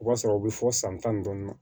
O b'a sɔrɔ o bɛ fɔ san tan ni dɔɔnin na